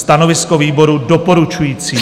Stanovisko výboru: doporučující.